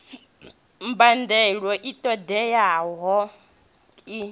mbadelo i ṱo ḓeaho i